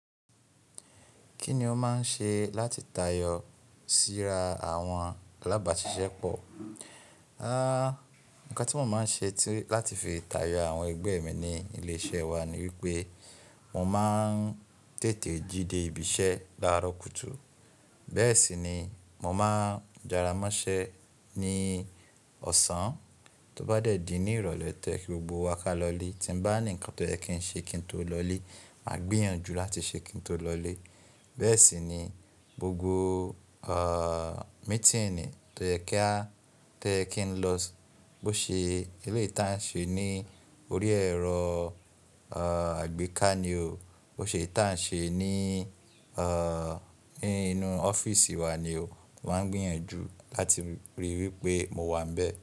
Kí ni o máa ń ṣe láti tayọ síra àwọn alábàáṣiṣẹ́ pọ̀? Nǹkan tí mo máa ń ṣe láti fi tayọ àwọn ẹgbẹ́ mi ní ilé iṣẹ́ wa ni wípé mo máa ń tètè jí dé ibi iṣẹ́ láàárọ̀ kùtù. Bẹ́ẹ̀ sì ni mo máa ń jaramọ́ṣẹ́ ní ọ̀sán. Tó bá dẹ̀ di ní ìrọ̀lẹ́ tó ye kí gbogbo wa kálọ̀lé. Tí mo bá ní ǹkan tó yẹ kí n ṣe kí n tó lọlé, màá gbìyànjú láti ṣe kí n tó lọlé. Bẹ́ẹ̀ sì ni gbogbo à meeting tó yẹ kí n lọ sí, bó ṣe eléyìí tí à ń ṣe ní orí ẹ̀rọ àgbéká ni o, bó ṣe eyi tí à ń ṣe ní inú ọ́fíìsì wa ni o, mo màá n gbìyànjú láti ríi wípé mo wà níbẹ̀